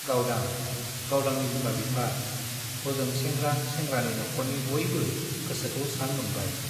गावदां , गावदांनि बिमा - बिफा , हजों सेंग्रा - सेंग्रानि नख'रनि बयबो गोसोखौ स्रां मोनबाय ।